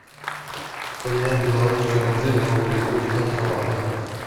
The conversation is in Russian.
поменять белорусские рубли на рубли курс центробанка